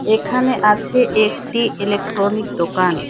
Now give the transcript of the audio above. এখানে আছে একটি ইলেকট্রনিক দোকান।